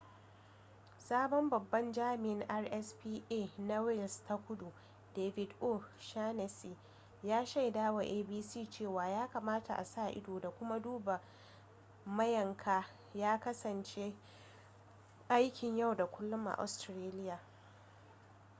sabon babban jami'in rspca na wales ta kudu david o'shannessy ya shaidawa abc cewa ya kamata a sa-ido da kuma duba mayanka ya kasance aikin yau da kullum a australia